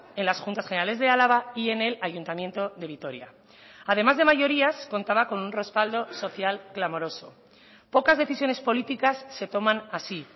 en las juntas generales de álava y en el ayuntamiento de vitoria además de mayorías contaba con un respaldo social clamoroso pocas decisiones políticas se toman así